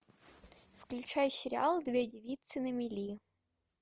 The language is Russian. включай сериал две девицы на мели